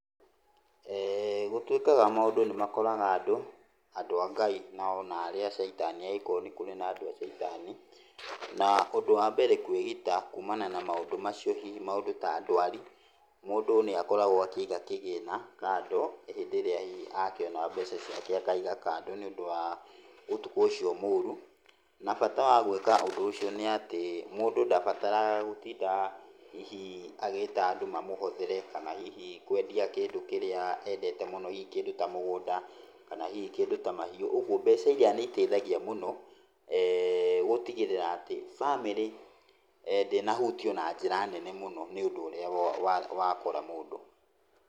Gũtuĩkaga maũndũ nĩ makoraga andũ, andũ a Ngai na onarĩa a caitani agĩkorwo nĩ kũrĩ andũ a caitani, na ũndũ wambere kũĩgita kumana na maũndũ macio, hihi maũndũ ta ndũari. Mũndũ nĩ akoragwo akĩiga kĩgĩna kando, hĩndĩ ĩrĩa hihi akĩona mbeca ciake, akaiga kando nĩ ũndũ wa ũtukũ ũcio mũru. Na bata wa gũĩka ũndũ ũcio nĩ atĩ mũndũ ndabataraga gũtinda hihi agĩta andũ mamũhothere kana hihi kwendia kĩndũ kĩrĩa endete mũno, hihi kĩndũ ta mũgũnda, kana hihi ta mahiũ. Ũguo mbeca iria nĩ iteithagia mũno gũtigĩrĩra atĩ bamĩrĩ ndĩnahutio na njĩra nene mũno, nĩ ũndũ ũrĩa wakora mũndũ.